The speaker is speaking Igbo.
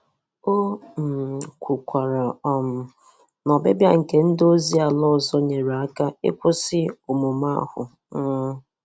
O um kwukwara um na ọbịbịa nke ndị ozi ala ọzọ nyere aka n'ịkwụsị omume ahụ um